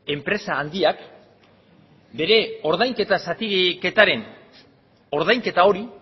enpresa handiak bere ordainketa zatiketaren ordainketa hori